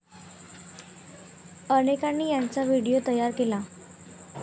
अनेकांनी याचा व्हिडीओ तयार केला.